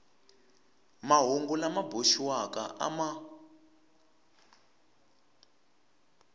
mahungu lama boxiwaka a ma